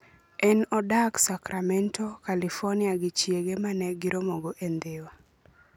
En odak Sacramento, California, gi chiege, ma ne giromogo e Dhiwa.